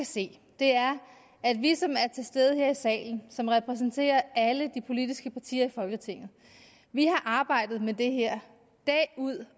se er at vi som er til stede her i salen som repræsenterer alle de politiske partier i folketinget har arbejdet med det her dag ud